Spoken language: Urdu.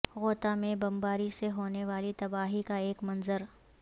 غوطہ میں بمباری سے ہونے والی تباہی کا ایک منظر